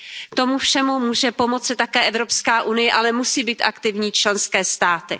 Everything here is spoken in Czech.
K tomu všemu může pomoci také Evropská unie, ale musí být aktivní i členské státy.